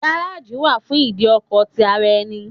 Garaji wà fún ìdí ọkọ̀ ti ara ẹni.